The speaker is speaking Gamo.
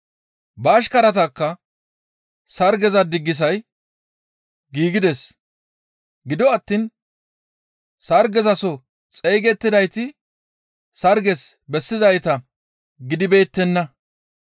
Ba ashkaratakka, ‹Sargeza diggisay giigides; gido attiin sargezaso xeygettidayti sarges bessizayta gidibeettenna.